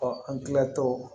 an kilatɔ